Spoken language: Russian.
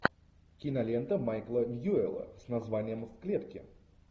кинолента майкла ньюэлла с названием в клетке